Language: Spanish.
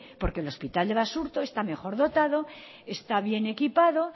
porque el hospital de basurto está mejor dotado está bien equipado